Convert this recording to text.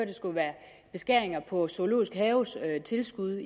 det skulle være beskæringer på zoologisk haves tilskud